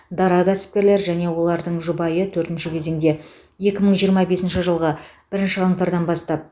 дара кәсіпкерлер және олардың жұбайы төртінші кезеңде екі мың жиырма бесінші жылғы бірінші қаңтардан бастап